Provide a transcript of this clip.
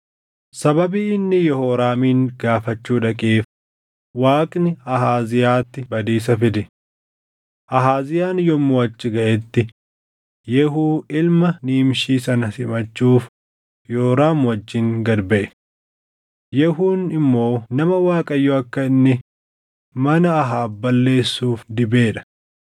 Sababii inni Yehooraamin gaafachuu dhaqeef Waaqni Ahaaziyaatti badiisa fide. Ahaaziyaan yommuu achi gaʼetti Yehuu ilma Nimshii sana simachuuf Yooraam wajjin gad baʼe. Yehuun immoo nama Waaqayyo akka inni mana Ahaab balleessuuf dibee dha.